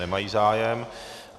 Nemají zájem.